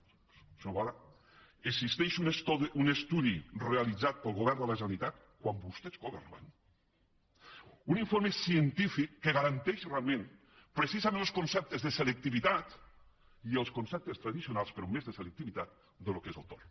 senyor boada existeix un estudi realitzat pel govern de la generalitat quan vostès governaven un informe científic que garanteix realment precisant els conceptes de selectivitat i els conceptes tradicionals però més de selectivitat del que és el tord